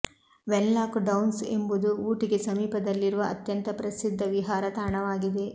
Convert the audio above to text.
Wenlock Downs ಎಂಬುದು ಊಟಿಗೆ ಸಮೀಪದಲ್ಲಿರುವ ಅತ್ಯಂತ ಪ್ರಸಿದ್ಧ ವಿಹಾರ ತಾಣವಾಗಿದೆ